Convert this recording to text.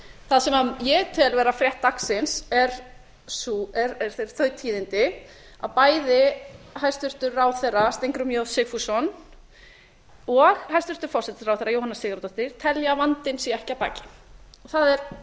það sem ég tel vera frétt dagsins eru þau tíðindi að bæði hæstvirtan ráðherra steingrímur j sigfússon og hæstvirtur forsætisráðherra jóhanna sigurðardóttir telja að vandinn sé ekki að baki